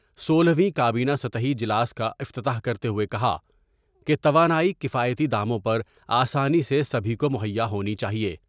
سولہویں کا بینہ طی جلاس کا افتتاح کرتے ہوئے کہا کہ توانائی کفائیتی داموں پر آسانی سے سبھی کو مہیا ہونی چاہئے ۔